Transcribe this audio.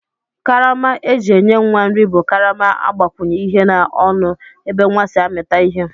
Karama eji enye nwa nri bu karama agbakwunye ihe na ọnụ ebe nwa si amita ihe.